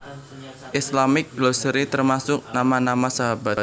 Islamic Glossary termasuk nama nama sahabat